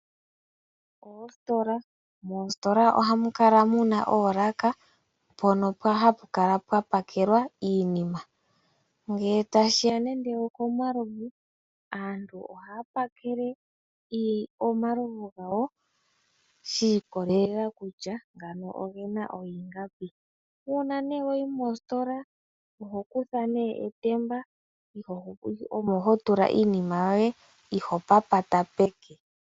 Oositola. Moositola ohamu kala muna oolaka mpono hapu kala pwa pakelwa iinima. Ngele tashiya nenge okomalovu aantu ohaya pakele omalovu gawo shi ikolelela kutya ngano ogena ingapi. Uuna nee wayi mositola oho kutha nee etemba olyo ho tula iinima yoye iho papata peke.